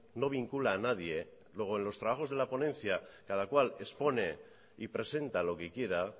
no vincula a nadie luego en los trabajos de la ponencia cada cual expone y presenta lo que quiera